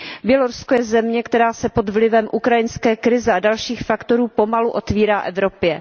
Bělorusko je země, která se pod vlivem ukrajinské krize a dalších faktorů pomalu otvírá Evropě.